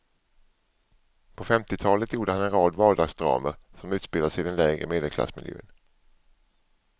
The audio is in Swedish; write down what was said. På femtiotalet gjorde han en rad vardagsdramer som utspelar sig i den lägre medelklassmiljön.